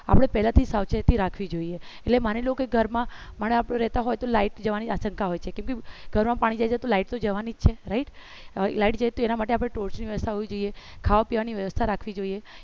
આપણે પહેલાથી સાવચેતી રાખવી જોઈએ એટલે માની લો કે ઘરમાં પણ આપણું રહેતા હોય તો light જવની આ આશંક હોય છે તો ઘર માં પાણી જાય તો light તો જવાની જ છે right એના માટે આપણે torch હોવી જોઈએ ખાવા પીવાની વ્યવસ્થા રાખવી જોઈએ